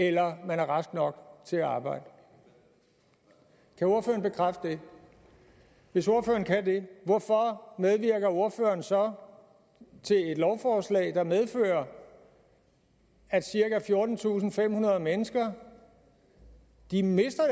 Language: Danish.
eller man er rask nok til at arbejde kan ordføreren bekræfte det hvis ordføreren kan det hvorfor medvirker ordføreren så til et lovforslag der medfører at cirka fjortentusinde og femhundrede mennesker mister